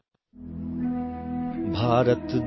Maithili sound clip 30 seconds Hindi translation